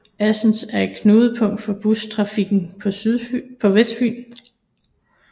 Assens er et knudepunkt for bustrafikken på Vestfyn